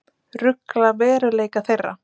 Rugla veruleika þeirra.